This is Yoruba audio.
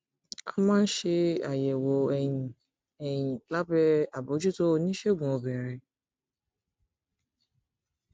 a máa ń ṣe àyẹwò ẹyin ẹyin lábẹ àbójútó oníṣègùn obìnrin